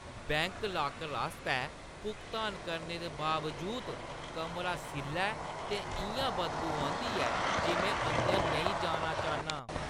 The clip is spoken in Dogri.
बैंक लॉकर आस्तै भुगतान करने दे बावजूद, कमरा सिʼल्ला ऐ ते इʼयां बदबू औंदी ऐ जे में अंदर नेईं जाना चाह्न्नां।